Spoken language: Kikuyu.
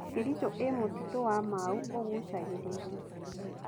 Kericho ĩĩ mũtitũ wa Mau ũgucagĩrĩria.